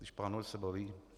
Když pánové se baví.